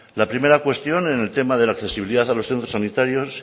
la primera cuestión en el tema de la accesibilidad a los centros sanitarios